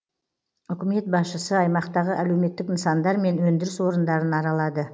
үкімет басшысы аймақтағы әлеуметтік нысандар мен өндіріс орындарын аралады